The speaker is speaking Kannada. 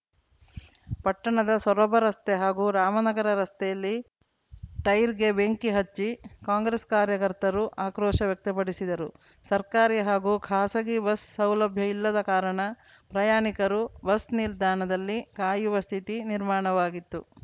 ಪಟ್ಟಣದ ಸೊರಬ ರಸ್ತೆ ಹಾಗೂ ರಾಮನಗರ ರಸ್ತೆಯಲ್ಲಿ ಟೈರ್‌ಗೆ ಬೆಂಕಿ ಹಚ್ಚಿ ಕಾಂಗ್ರೆಸ್‌ ಕಾರ್ಯಕರ್ತರು ಆಕ್ರೋಶ ವ್ಯಕ್ತಪಡಿಸಿದರು ಸರ್ಕಾರಿ ಹಾಗೂ ಖಾಸಗಿ ಬಸ್‌ಸೌಲಭ್ಯ ಇಲ್ಲದ ಕಾರಣ ಪ್ರಯಾಣಿಕರು ಬಸ್‌ ನಿಲ್ದಾಣದಲ್ಲಿ ಕಾಯುವ ಸ್ಥಿತಿ ನಿರ್ಮಾಣವಾಗಿತ್ತು